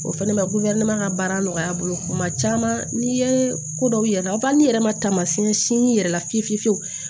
O fɛnɛ ma ka baara nɔgɔya a bolo kuma caman n'i ye ko dɔw yira n'i ma taamasiɲɛ si yɛrɛ la fiye fiye fiye fiyewu